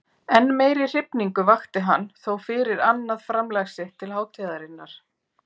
Enn meiri hrifningu vakti hann þó fyrir annað framlag sitt til hátíðarinnar.